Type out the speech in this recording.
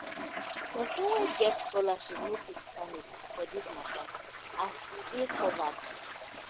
persin wey get scholarship no fit panic for dis mata as e dey covered